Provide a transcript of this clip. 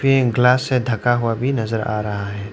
Pen glass से ढका हुआ भी नजर आ रहा है।